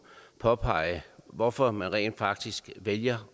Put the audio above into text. påpeget hvorfor man rent faktisk vælger